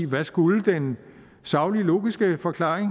hvad skulle den saglige logiske forklaring